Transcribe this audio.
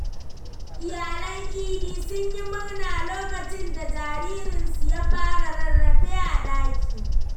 Iyalan Idi sun yi murna lokacin da jaririnsu ya fara rarrafe a ɗaki.